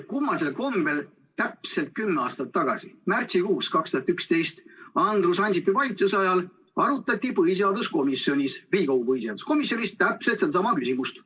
Kummalisel kombel täpselt kümme aastat tagasi, 2011. aasta märtsikuus Andrus Ansipi valitsuse ajal arutati Riigikogu põhiseaduskomisjonis täpselt sedasama küsimust.